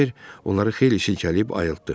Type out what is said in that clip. Kibər onları xeyli silkələyib ayıltdı.